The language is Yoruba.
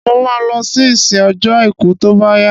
Mo ma lọ sí ìsìn ọjọ́ àìkú tó bá yá